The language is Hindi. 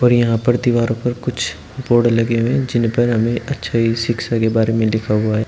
और यहां पर दीवारो पर कुछ बोर्ड लगे हुए हैं जिनपर हमें अच्छाई शिक्षा के बारे में लिखा हुआ है।